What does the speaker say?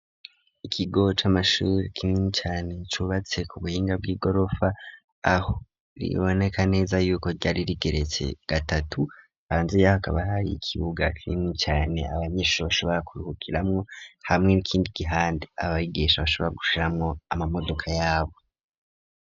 Ikigo c'amashuri kinini cane cubatse ku buhinga bw'igorofa aho riboneka neza yuko ryari rigeretse gatatu hanze yaho kaba hariyo ikibuga kinini cane abanyeshure bashobora kuruhukiramwo hamwe nikindi gihande abayigisha bashobora gushiramwo amamodoka yabo.